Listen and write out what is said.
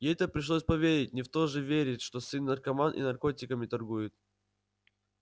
ей-то пришлось поверить не в то же верить что сын наркоман и наркотиками торгует